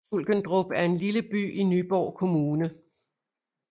Sulkendrup er en lille by i Nyborg Kommune